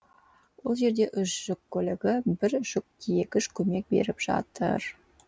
ол жерде үш жүк көлігі бір жүк тиегіш көмек беріп жатыр